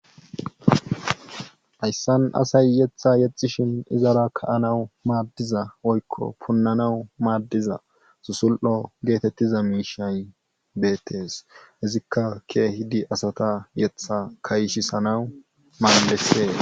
Ayssan asay yeththa yexishin izara ka7anawu maaddiza oykko punnanawu maaddiza susul7o geetettiza miishay deettes izikka kee hidi asata yetha kayishi sanawu malesee